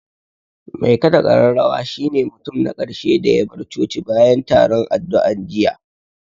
Mai ƙaɗa ƙararrawa shi ne mutum na ƙarshe da ya bar coci bayan taron addu'an jiya